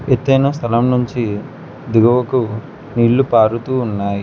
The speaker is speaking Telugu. ఎత్తైన స్థలం నుంచి దిగువకు నీళ్లు పారుతూ ఉన్నాయి.